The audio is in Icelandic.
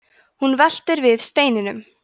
hún veltir við steinum